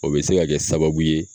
O be se ka kɛ sababu ye